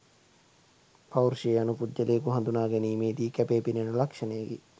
පෞරුෂය යනු පුද්ගලයකු හඳුනා ගැනීමේ දී කැපීපෙනෙන ලක්ෂණයකි.